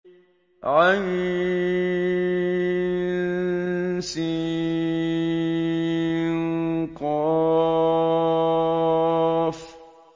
عسق